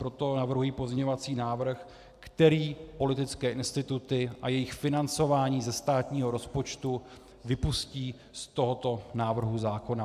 Proto navrhuji pozměňovací návrh, který politické instituty a jejich financování ze státního rozpočtu vypustí z tohoto návrhu zákona.